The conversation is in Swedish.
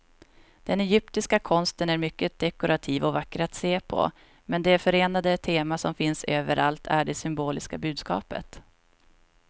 Den egyptiska konsten är mycket dekorativ och vacker att se på, men det förenade tema som finns överallt är det symboliska budskapet.